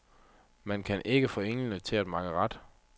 Man kan ikke få englene til at makke ret.